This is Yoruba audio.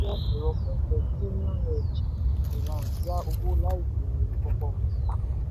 carbon ní oníbàárà ju two million lọ ṣùgbọ́n àwọn tó gba app wọn kere sí i.